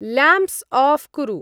Lamps आऴ् कुरु।